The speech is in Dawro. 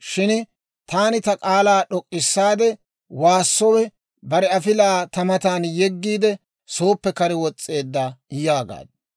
shin taani ta k'aalaa d'ok'k'issaade waassowe, bare afilaa ta matan yeggiide, sooppe kare wos's'eedda» yaagaaddu.